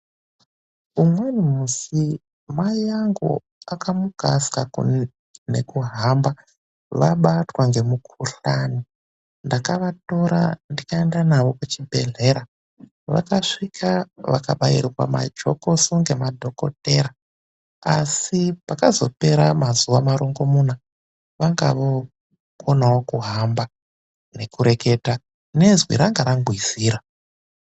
Umweni mushi, mai angu akamuka asingakoni ngekuhamba vabatwa nemukuhlani. Ndakavatora ndikaenda navo kuchibhedhlera. Vakasvika vakabairwa majokoso nemadhokodheya. Asi pakazopera mazuva marongomuna, vanga vookonawo kuhamba nekureketa ngezwi ranga rangwizira.